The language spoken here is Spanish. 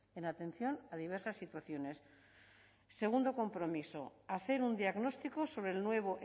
en atención a diversas situaciones segundo compromiso hacer un diagnóstico sobre el nuevo